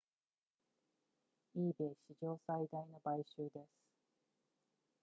ebay 史上最大の買収です